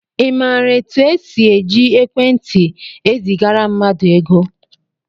I maara etu e si eji ekwentị ezigara mmadụ ego?